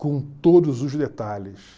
com todos os detalhes.